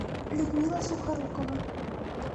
людмила сухорукова